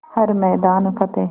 हर मैदान फ़तेह